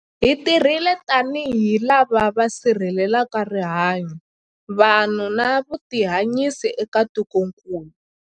Hi tirhile tanihi lava va sirhelelaka rihanyu, vanhu na vutihanyisi eka tikokulu.